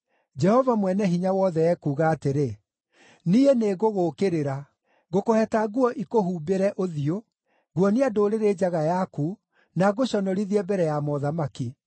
Jehova Mwene-Hinya-Wothe ekuuga atĩrĩ, “Niĩ nĩngũgũũkĩrĩra. Ngũkũheta nguo ikũhumbĩre ũthiũ. Nguonia ndũrĩrĩ njaga yaku, na ngũconorithie mbere ya mothamaki.